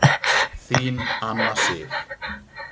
Þín Anna Sif.